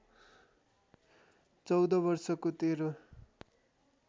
१४ वर्षको तेरो